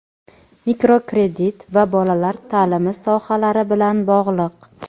mikrokredit va bolalar ta’limi sohalari bilan bog‘liq.